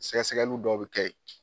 Sɛgɛsɛgɛlu dɔw be kɛ yen